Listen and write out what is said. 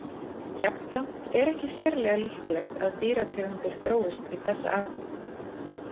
Jafnframt er ekki sérlega líklegt að dýrategundir þróist í þessa átt.